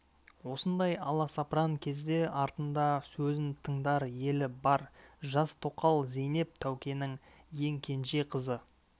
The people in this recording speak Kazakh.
осындай аласапыран кезде артында сөзін тыңдар елі бар жас тоқал зейнеп тәукенің ең кенже қызы